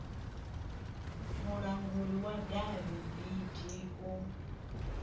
mulanguli wa davhi bd u